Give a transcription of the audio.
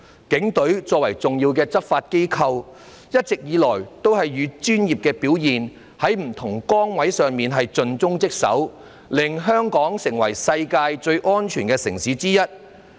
警隊作為重要的執法機構，一直以來也是以專業表現，在不同崗位上盡忠職守，令香港成為世界上最安全的城市之一。